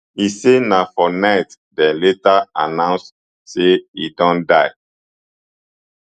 e say na for night dem later announce say e don die